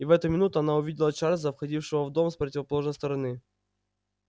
и в эту минуту она увидела чарлза входившего в дом с противоположной стороны